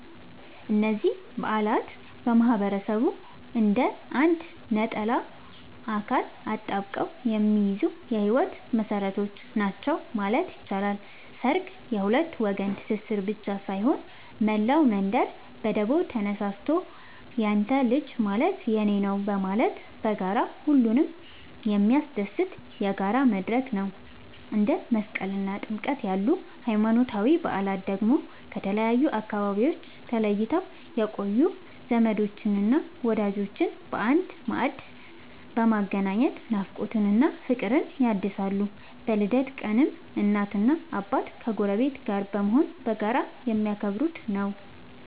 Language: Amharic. እነዚህ በዓላት ማህበረሰቡን እንደ አንድ ነጠላ አካል አጣብቀው የሚይዙ የህይወት መሰረቶች ናቸው ማለት ይቻላል። ሠርግ የሁለት ወገን ትስስር ብቻ ሳይሆን፣ መላው መንደር በደቦ ተነሳስቶ ያንተ ልጅ ማለት የኔ ነዉ በማለት በጋራ ሁሉንም የሚያስደስትበት የጋራ መድረክ ነው። እንደ መስቀልና ጥምቀት ያሉ ሃይማኖታዊ በዓላት ደግሞ ከተለያዩ አካባቢዎች ተለይተው የቆዩ ዘመዶችንና ወዳጆችን በአንድ ማዕድ በማገናኘት ናፍቆትን እና ፍቅርን ያድሳሉ። በልደት ቀንም እናትና አባት ከጎረቤት ጋር በመሆን በጋራ የሚያከብሩት ነዉ።